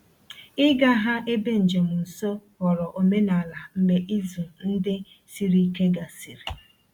Ịga ha ebe njem nsọ ghọrọ omenala mgbe izu ndị siri ike gasịrị.